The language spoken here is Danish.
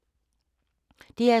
DR2